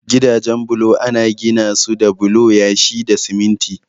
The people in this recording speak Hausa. Gidajen bulo ana ginasu da bulo, yashi da siminti.